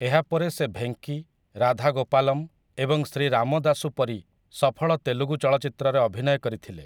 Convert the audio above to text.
ଏହା ପରେ ସେ 'ଭେଙ୍କି', 'ରାଧା ଗୋପାଲମ' ଏବଂ 'ଶ୍ରୀ ରାମଦାସୁ' ପରି ସଫଳ ତେଲୁଗୁ ଚଳଚ୍ଚିତ୍ରରେ ଅଭିନୟ କରିଥିଲେ ।